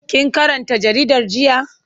Kin karanta jaridar jiya?